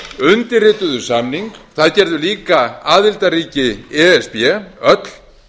undirrituðu samning það gerðu líka aðildarríki e s b öll